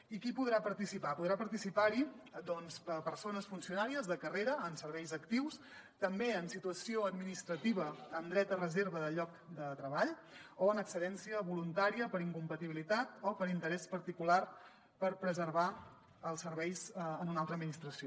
i qui podrà participar hi podran participar hi doncs persones funcionàries de carrera en serveis actius també en situació administrativa amb dret a reserva de lloc de treball o en excedència voluntària per incompatibilitat o per interès particular per preservar els serveis en una altra administració